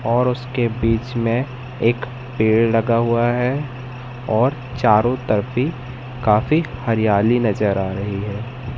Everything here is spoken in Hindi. और उसके बीच में एक पेड़ लगा हुआ है और चारों तरफ भी काफी हरियाली नजर आ रही है।